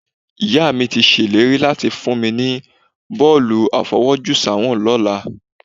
Ìyá mi ti ṣèlérí láti fún mi ní bọ́ọ̀lù àfọwọ́jùsáwọ̀n lọ́la